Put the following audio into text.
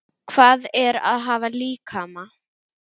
Hvað er að hafa líkama?